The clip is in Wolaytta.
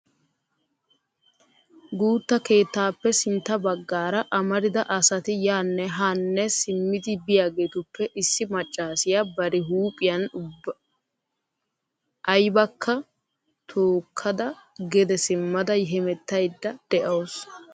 guutta keettappe sintta baggaara amarida asati yaanne haanne simmidi biyaageetuppe issiv maccassiya bari huphiyan aybbakko tookkada gede simmada hemettaydda de'awusu.